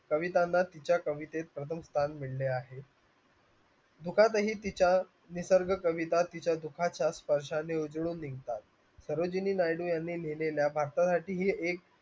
कवितांना तिच्या कवितेत आहेत मुखातही तिच्या निसर्ग कविता तिच्या दुखाच्या स्पर्शाने उजळून निघतात सरोजिनी नायडू यांनी लिहिलेल्या ही एक